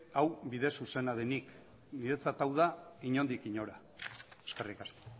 hau bide zuzena denik niretzat hau da inondik inora eskerrik asko